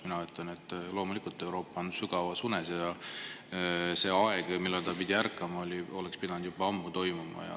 Mina ütlen, et loomulikult, Euroopa on sügavas unes ja see aeg, millal ta oleks pidanud ärkama, oli juba ammu.